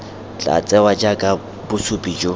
tla tsewa jaaka bosupi jo